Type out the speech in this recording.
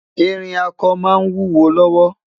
ìrìn ako má n wúwo lówó